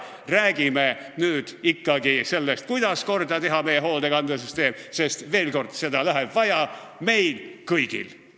Räägime ikkagi sellest, kuidas teha korda meie hoolekandesüsteem, sest, veel kord, seda läheb vaja meil kõigil.